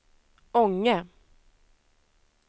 Ånge